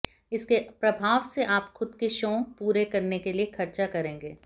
इसके प्रभाव से आप खुद के शौक पूरे करने के लिए खर्चा करेंगे